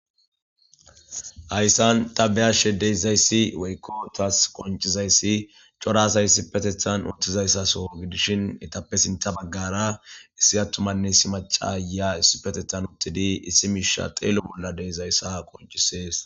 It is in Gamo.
Hayssan tabe ashe deyizayssi woykko taas qoncizayssi corasay si petethan uttizayssa so gidishin etappe sinta baggara issi attumanne isi macaya issipetethan uttidi issi miisha xeelo bolla dezayssa qoncisees.